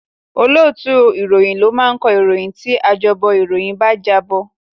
Olóòtú ìròyìn ni máa kọ ìròyìn tí ajábọ̀ ìròyìn bá jábọ̀